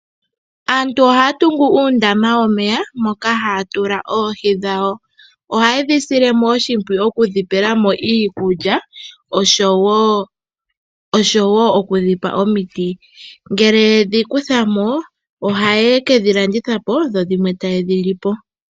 Aantu ohaya tungu uundama womeya moka hatula oohi dhawo. Ohaye dhi sile mo oshimpwiyu okudhi pelamo iikulya oshowo okudhipa omiti. Ngele yedhi kuthamo ohaye kedhi landitha po dho dhimwe taye dhilipo.